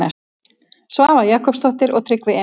Svava Jakobsdóttir og Tryggvi Emilsson.